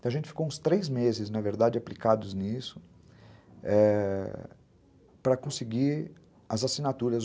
Então, a gente ficou uns três meses, na verdade, aplicados nisso, eh... para conseguir as assinaturas.